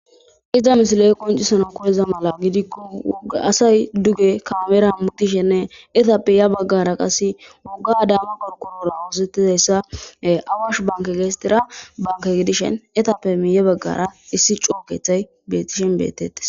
Iza misiley qonicisanaw koyiza mala gidiko asay duge kamera hamutishenee etape ya bagara woga adama qoriqorira osetizaysa awshin banke gidishin etape miye bagara issi coo kethay betishin betetes